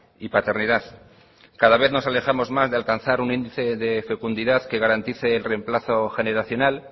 y paternidad cada vez nos alejamos más de alcanzar un índice de fecundidad que garantice el remplazo generacional